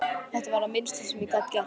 Þetta var það minnsta sem ég gat gert